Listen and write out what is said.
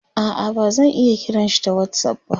a'a bazan iya kiranshi ta whatsapp ba